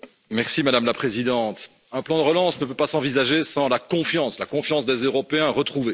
Madame la Présidente, un plan de relance ne peut pas s'envisager sans la confiance, la confiance des Européens retrouvée.